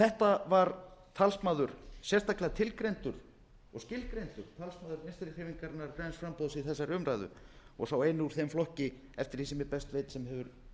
þetta var talsmaður sérstaklega tilgreindur og skilgreindur talsmaður vinstri hreyfingarinnar græns framboðs í þessari umræðu og sá eini úr þeim flokki eftir því sem ég best veit sem hefur